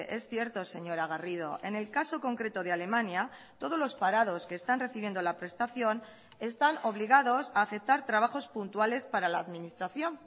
es cierto señora garrido en el caso concreto de alemania todos los parados que están recibiendo la prestación están obligados a aceptar trabajos puntuales para la administración